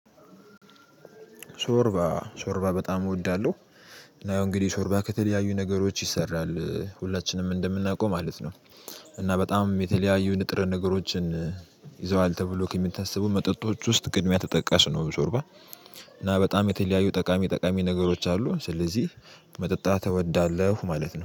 ሾርባ ሾርባ በጣም እወዳለሁ። እና ያው እንግዲህ ሾርባ ከተለያዩ ነገሮች ይሰራል ሁላችንም እንደምናውቀው ማለት ነው። እና በጣም የተለያዩ ንጥር ነገሮችን ይዘዋል ተብሎ ከመታሰቡ መጠጦች ውስጥ ቅድሚያ ተጠቃሽ ነው ሾርባ። እና በጣም የተለያዩ ጠቃሚ ጠቃሚ ነገሮች አሉ ስለዚህ መጠጣት እወዳለሁ። ማለት ነው